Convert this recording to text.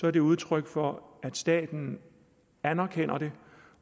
er det udtryk for at staten anerkender det